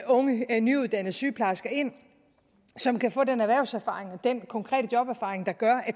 unge nyuddannede sygeplejersker ind som kan få den erhvervserfaring og den konkrete joberfaring der gør at